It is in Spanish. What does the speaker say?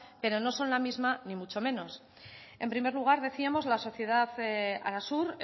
pero no son la misma ni mucho menos en primer lugar decíamos la sociedad arasur